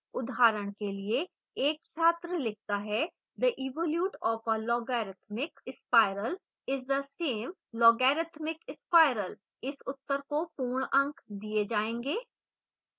उदाहरण के लिए: एक छात्र लिखता है the evolute of a logarithmic spiral is the same logarithmic spiral